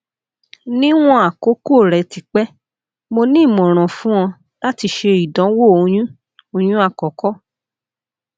niwon akoko rẹ ti pẹ mo ni imọran fun ọ lati ṣe idanwo oyun oyun akọkọ